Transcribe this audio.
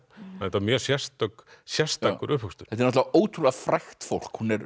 þetta var mjög sérstakur sérstakur uppvöxtur þetta er ótrúlega frægt fólk